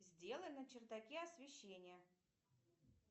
сделай на чердаке освещение